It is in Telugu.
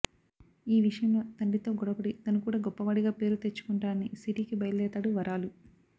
ఈ విషయంలో తండ్రితో గొడవపడి తను కూడా గొప్పవాడిగా పేరు తెచ్చుకుంటానని సిటీకి బయల్దేరతాడు వరాలు